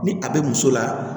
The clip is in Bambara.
Ni a bɛ muso la